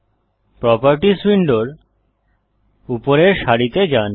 properties উইন্ডোর উপরের সারিতে যান